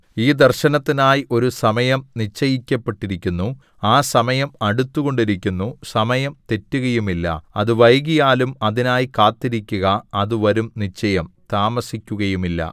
ഈ ദർശനത്തിനായി ഒരു സമയം നിശ്ചയിക്കപ്പെട്ടിരിക്കുന്നു ആ സമയം അടുത്തുകൊണ്ടിരിക്കുന്നു സമയം തെറ്റുകയുമില്ല അത് വൈകിയാലും അതിനായി കാത്തിരിക്കുക അത് വരും നിശ്ചയം താമസിക്കുകയുമില്ല